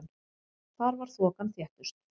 Þar var þokan þéttust.